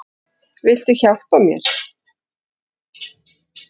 Viltu hjálpa mér?